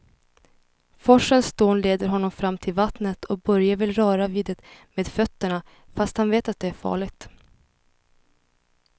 Forsens dån leder honom fram till vattnet och Börje vill röra vid det med fötterna, fast han vet att det är farligt.